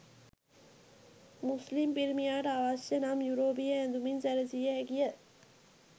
මුස්ලිම් පිරිමියාට අවශ්‍ය නම් යුරෝපීය ඇඳුමින් සැරසිය හැකිය.